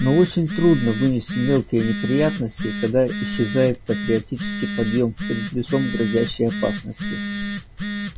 но очень трудно вынести мелкие неприятности когда исчезает патриотический подъем перед лицом грозящей опасности